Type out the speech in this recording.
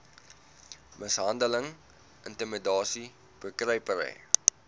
mishandeling intimidasie bekruipery